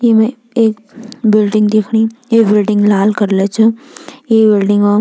ईमा एक बिल्डिंग दिखणी ये बिल्डिंग लाल कलर च ये बिल्डिंग म --